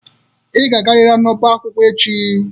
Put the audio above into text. Ị ga-agariri n'ọbá akwụkwọ echi!